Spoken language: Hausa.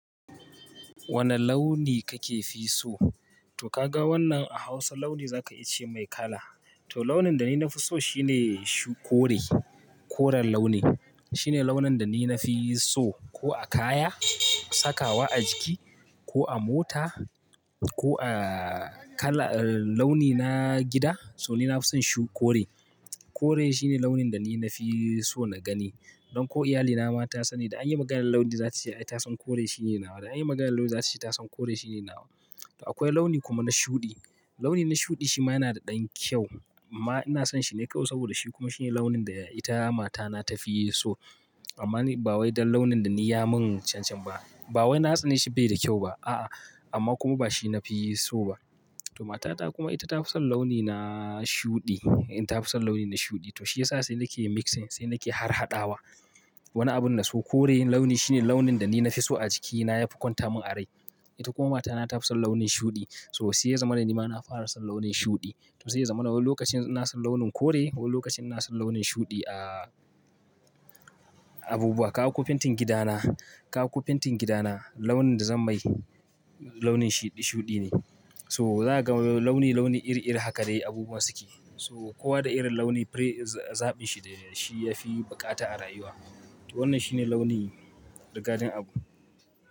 Wane launi kake fi so? To ka ga wannan a Hausa launi za ka iyace mai kala. To launin da ni na fi so shine shukore, koren launi. Shine launin da ni na fi so ko a kaya, sakawa a jiki, ko a mota, ko a kala-- launi na gida, so ni na fi son shu-- koren. Kore shine launin da ni na fi so na gani. Don ko iyalina ma ta sani da an yi maganar launi za ta ce ai ta san kore shine nawa. Da an yi maganar launi za ta ce ta san kore shine nawa. To akwai launi kuma na shuɗi. Launi na shuɗi shi ma yana da ɗan kyau. Amma ina son shi na kawai saboda shi kuma shine launin da ita matana ta fi so. Amma ba wai don launin da ni ya mun cancam ba. Ba wai na tsane shi bai da kyau ba. A'a, amma kuma ba shi nafi so ba. To matata kuma ita ta fi son launi na shuɗi. Ita ta fi son launi na shuɗi. To shi yasa sai nake mixing, sai nake harhaɗawa. Wani abun na so kore launi shine launin da ni na fi so a jikina yafi kwanta mun a rai. Ita kuma matana ta fi son launin shuɗi. So sai yaza mana ni ma na fara son launin shuɗi. To sai yazo mana wani lokacin na son launin kore, wani lokacin na son launin shuɗi a abubuwa. Ka haƙo fentin gidana, ka haƙo fentin gidana launin da zan mai launin shiɗi-- shuɗi ne. So za ka ga launi-launi iri-iri haka dai abubuwa suke. So kowa da irin launi fure zaɓin shi da shi yafi buƙata a rayuwa. To wannan shine launi rigadin abu.